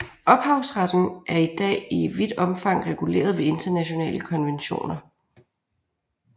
Ophavsretten er i dag i vidt omfang reguleret ved internationale konventioner